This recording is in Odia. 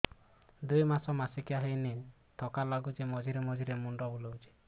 ଦୁଇ ମାସ ମାସିକିଆ ହେଇନି ଥକା ଲାଗୁଚି ମଝିରେ ମଝିରେ ମୁଣ୍ଡ ବୁଲୁଛି